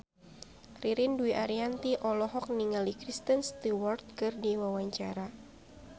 Ririn Dwi Ariyanti olohok ningali Kristen Stewart keur diwawancara